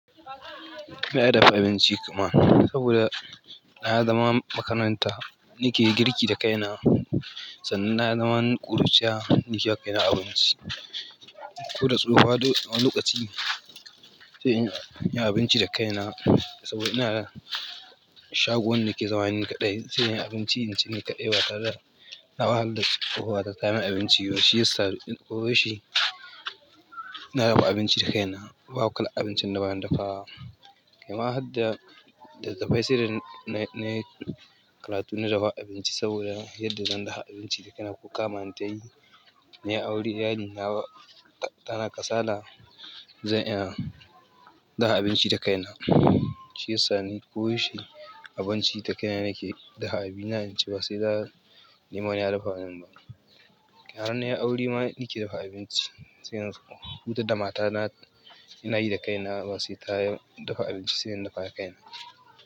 Ni na dafa abinci kuma saboda na yi zaman makaranta, ni ke girki da kaina. Sannan na yi zaman ƙuruciya, ni kewa kaina abinci. Ko da tsohowa wani lokaci sai in yi abinci da kaina saboda ina da shagon da ke zama ni kaɗai, sai in yi abinci in ci ni kaɗai ba tare da. Na wahalar da tsohuwa ta ta min abinci, shi yasa ko wai shi na dafa abinci da kaina. Ba kalar abincin da ba na dafawa. Kuma har da litattafai sai dai na yi karatu na dafa abinci saboda yadda zan dafa abinci da kaina ko kama an tayi. Nai aure na iyalina tana kasala zan iya dafa abinci da kaina. Shi yasa ni ko yaushe abinci da kaina nake dafa abina in, ci ba sai na nemi wani ya dafa min ba. Har nai aure ma ni ke dafa abinci sai in huta da mata na, ina yi da kaina. Ba sai ta dafa abinci sai in dafa da kaina.